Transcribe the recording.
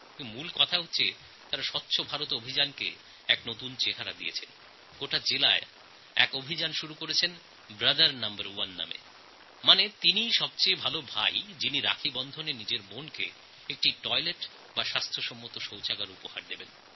কিন্তু আসল কথা হল তাঁরা স্বচ্ছ ভারত অভিযানকে এক নতুন দিশা দেখিয়েছেন তাঁরা গোটা জেলায় আর একটি অভিযান শুরু করেছেন ব্রাদার নম্বর ওয়ান অর্থাৎ সেই সবথেকে ভালো ভাই যিনি রাখীবন্ধন উপলক্ষে তাঁর বোনকে একটি শৌচালয় উপহার দেন